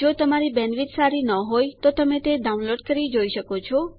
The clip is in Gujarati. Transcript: જો તમારી બેન્ડવિડ્થ સારી ન હોય તો તમે ડાઉનલોડ કરી તે જોઈ શકો છો